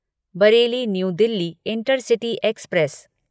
Bareilly New Delhi intercity express